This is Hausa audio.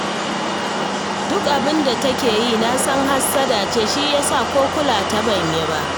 Duk abin da take yi, na san hassada ce, shi ya sa ko kula ta ban yi ba